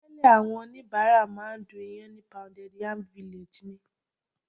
Tẹ́lẹ̀ àwọn oníbàárà máa ń du ìyàn ní Pounded Yam Village ni.